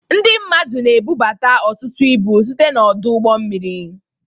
Ndị mmadụ na ebubata ọtụtụ ibu site na ọdụ ụgbọ mmiri.